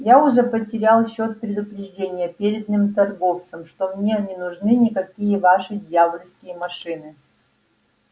я уже потерял счёт предупреждениям переданным торговцам что мне не нужны никакие ваши дьявольские машины